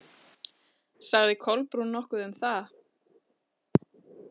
Sagði Kolbrún nokkuð um það?